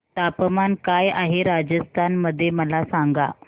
तापमान काय आहे राजस्थान मध्ये मला सांगा